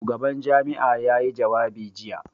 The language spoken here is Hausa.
Shugaban jami'a ya yi jawabi jiya.